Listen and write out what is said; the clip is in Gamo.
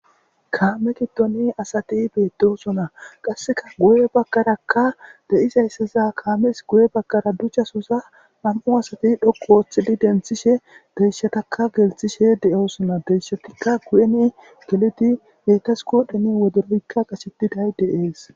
Kaame giddoni asati beetdosona qasseka guye baggarakka de'izayssaza kaames guye bagkara duchasosa nam'u asati dhoqu ooththidi denthishe deishatakka gelthishe deyoosona deishatikka guyeni geliti betas kodheni wodoroykka qashetiday deees